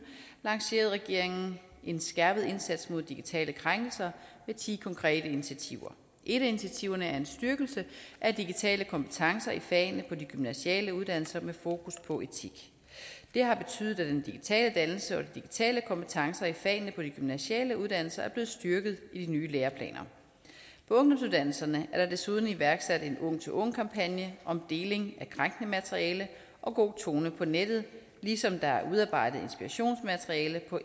lancerede regeringen en skærpet indsats mod digitale krænkelser med ti konkrete initiativer et af initiativerne er en styrkelse af digitale kompetencer i fagene på de gymnasiale uddannelser med fokus på etik det har betydet at den digitale dannelse og de digitale kompetencer i fagene på de gymnasiale uddannelser er blevet styrket i de nye læreplaner på ungdomsuddannelserne er der desuden iværksat en ung til ung kampagne om deling af krænkende materiale og god tone på nettet ligesom der er udarbejdet inspirationsmateriale på